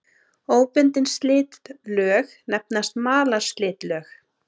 Óbundin slitlög nefnast malarslitlög.